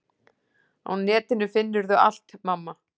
Á netinu finnurðu allt, mamma.